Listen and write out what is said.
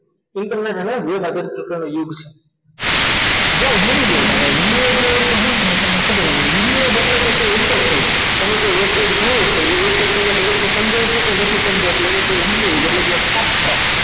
Internet હે ના બે સાથેના પ્રકારનો યુગ છે જ્યાં univerb એટલે તમને ખબર હોવી જોઈએ કે univerb એટલે કે interface તમે કોઈ website જુઓ છો એ website તરફથી સમજાય છે કે નથી સમજાતું એ univerb software